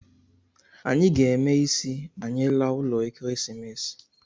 Anyị ga-eme ịsị ma anyị laa ụlọ Ekeresimese